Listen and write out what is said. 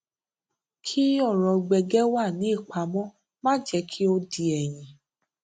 kí ọrọ gbẹgẹ wà ní ìpamó má jẹ kí ó di ẹyìn